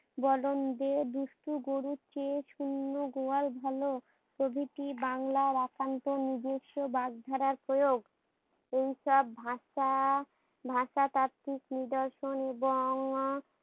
দুষ্ট গরুর চেয়ে ‍শূন্য গোয়াল ভালো প্রভৃতি বাংলার একান্ত নিজস্ব বাগধারা এইসব ভাষা ভাষাতাত্ত্বিক নিদর্শন এবং আহ